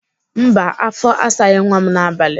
Mba afọ asaghị nwa m n'abalị.